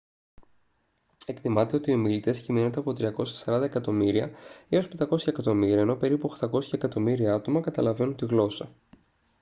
εκτιμάται ότι οι ομιλητές κυμαίνονται από 340 εκατομμύρια έως 500 εκατομμύρια ενώ περίπου 800 εκατομμύρια άτομα καταλαβαίνουν τη γλώσσα